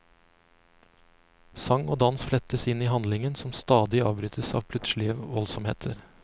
Sang og dans flettes inn i handlingen som stadig avbrytes av plutselige voldsomheter.